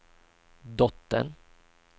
dottern